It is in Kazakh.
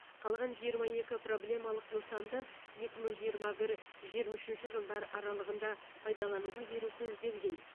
қалған жиырма екі проблемалық нысанды екі мың жиырма бір жиырма үшінші жылдар аралығында пайдалануға беру көзделген